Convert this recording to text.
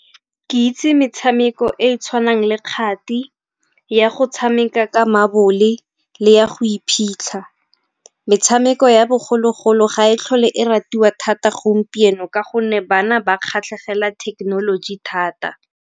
Ke itse metshameko e e tshwanang le kgati, ya go tshameka ka mabole le ya go iphitlha. Metshameko ya bogologolo ga e tlhole e ratiwa thata gompieno ka gonne bana ba kgatlhegela thekenoloji thata.